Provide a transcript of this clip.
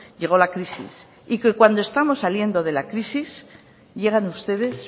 llegó la crisis y que cuando estamos saliendo de la crisis llegan ustedes